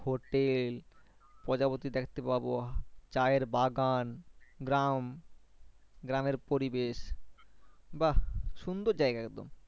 Hotel প্রজাপতি দেখতে পাবো চা এর বাগান গ্রাম, গ্রামের পরিবেশ বাহ সুন্দর জায়গা একদম।